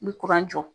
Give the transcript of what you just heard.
N bɛ jɔ